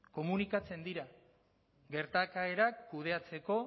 komunikatzen dira gertaerak kudeatzeko